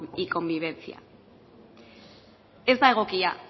y convivencia ez da egokia